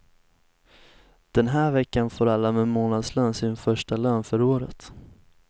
Den här veckan får alla med månadslön sin första lön för året.